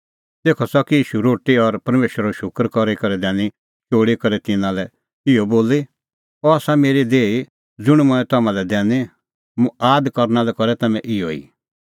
तेखअ च़की ईशू रोटी और परमेशरो शूकर करी करै दैनी चोल़ी करै तिन्नां लै इहअ बोली अह आसा मेरी देही ज़ुंण मंऐं तम्हां लै दैनी मुंह आद करना लै करै तम्हैं इहअ ई